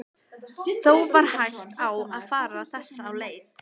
Þó var hætt á að fara þess á leit.